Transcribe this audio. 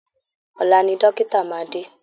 Ọ̀la ni dọ́kítà máa dé